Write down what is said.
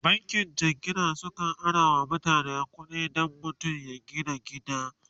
bankin jingina sukan arawa mutum kuɗi Dan mutum ya gina gida